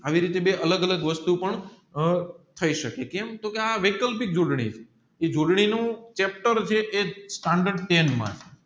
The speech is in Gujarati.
આવી રીતે બે અલગ અલગ વસ્તુ પણ થયી શકે કેમ કે આ વૈકલ્પિક છે એ નું